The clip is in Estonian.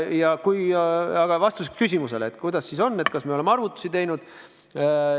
Ja vastus küsimusele, kuidas siis on, kas me oleme arvutusi teinud.